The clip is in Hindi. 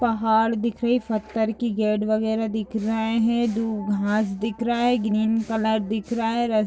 पहाड़ दिख रही पत्थर के गेट वगेरा दिख रहा है। दो घास दिख रहा है ग्रीन कलर दिख रहा है। रज--